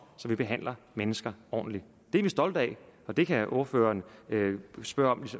behandler mennesker ordentligt det er vi stolte af det kan ordføreren spørge om